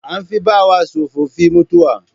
An fi bawa tsofaffin mutuwa